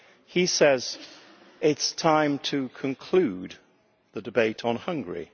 He says it is time to conclude the debate on Hungary.